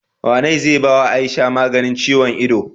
Wane zai bawa aisha maganin ciyon ido?